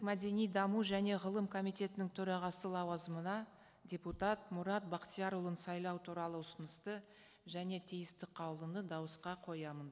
мәдени даму және ғылым комитетінің төрағасы лауазымына депутат мұрат бақтиярұлын сайлау туралы ұсынысты және тиісті қаулыны дауысқа қоямын